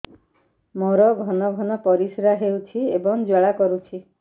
ମୋର ଘନ ଘନ ପରିଶ୍ରା ହେଉଛି ଏବଂ ଜ୍ୱାଳା କରୁଛି